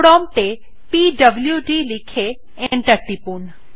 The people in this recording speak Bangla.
প্রম্পট এ পিডব্লুড লিখে এন্টার টিপুন